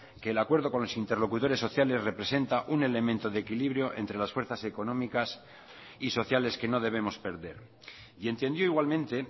que el acuerdo con los interlocutores sociales representa un elemento de equilibrio entre las fuerzas económicas y sociales que no debemos perder y entendió igualmente